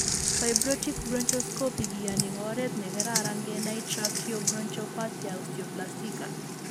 Fiberoptic bronchoscopy kiyooni kooret ne keraran kenay tracheobronchopathia osteoplastica